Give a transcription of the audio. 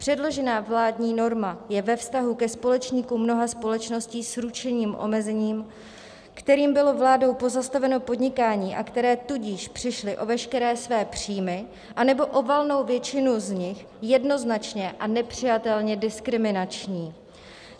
Předložená vládní norma je ve vztahu ke společníkům mnoha společností s ručením omezeným, kterým bylo vládou pozastaveno podnikání, a které tudíž přišly o veškeré své příjmy anebo o valnou většinu z nich, jednoznačně a nepřijatelně diskriminační.